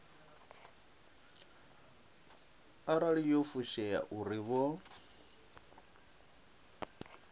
arali yo fushea uri vho